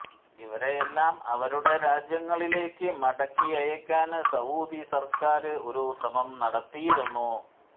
ഇവരെയെല്ലാം അവരുടെ രാജ്യങ്ങളിലേക്ക് മടക്കി അയക്കാന് സഊദി സര്ക്കാര് ഒരു ശ്രമം നടത്തിയിരുന്നു